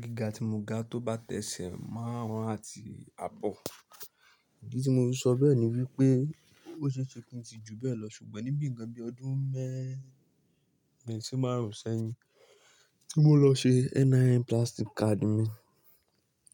Gíga tí mo ga tó báta ẹ́sẹ̀ máarun un àti àbọ̀. Ìdí tí mo fi sọ bẹ́ẹ̀ ni wípé ó ṣe é ṣe kí n ti ju bẹ́ẹ̀ lọ ṣùgbọ́n ní bí nkàn bí ọdún mẹ́ẹ̀rín si márùn-ún sẹ́yìn tí mo lọ ṣe NIN plastic card mi,